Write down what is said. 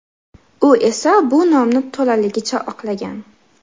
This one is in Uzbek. U esa bu nomni to‘laligicha oqlagan.